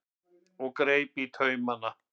og greip taumana.